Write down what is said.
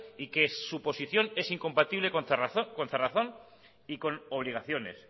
y que su posición es incompatible con cerrazón y con obligaciones